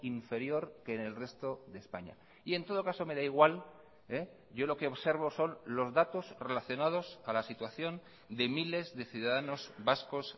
inferior que en el resto de españa y en todo caso me da igual yo lo que observo son los datos relacionados a la situación de miles de ciudadanos vascos